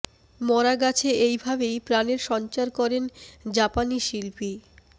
মরা গাছে এই ভাবেই প্রাণের সঞ্চার করেন জাপানি শিল্পী